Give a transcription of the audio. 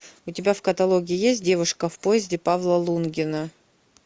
у тебя в каталоге есть девушка в поезде павла лунгина